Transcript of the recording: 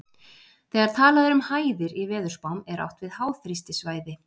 Þegar talað er um hæðir í veðurspám er átt við háþrýstisvæði.